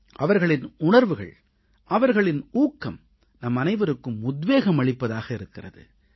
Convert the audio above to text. அவர்களின் உணர்வுகள் அவர்களின் ஊக்கம் நம் அனைவருக்கும் உத்வேகம் அளிப்பதாக இருக்கிறது